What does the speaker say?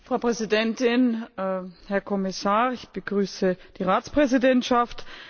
Frau Präsidentin, Herr Kommissar, ich begrüße die Ratspräsidentschaft!